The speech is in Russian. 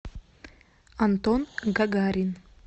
антон гагарин